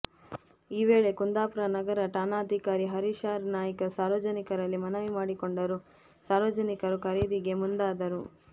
ಈ ವೇಳೆ ಕುಂದಾಪುರ ನಗರ ಠಾಣಾಧಿಕಾರಿ ಹರೀಶ್ ಆರ್ ನಾಯ್ಕ್ ಸಾರ್ವಜನಿಕರಲ್ಲಿ ಮನವಿ ಮಾಡಿಕೊಂಡರೂ ಸಾರ್ವಜನಿಕರು ಖರೀದಿಗೆ ಮುಂದಾದರು